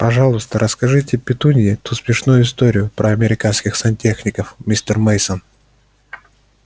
пожалуйста расскажите петунье ту смешную историю про американских сантехников мистер мейсон